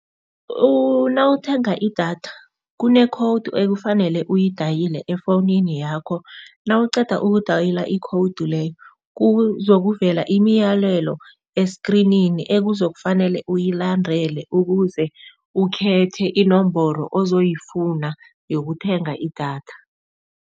Nawuthenga idatha kune-code ekufanele uyidayile efowunini yakho, nawuqeda ukudayila i-code leyo kuzokuvela imiyalelo eskrinini ekuzokufanele uyilandele, ukuze ukhethe inomboro ozoyifuna yokuthenga idatha.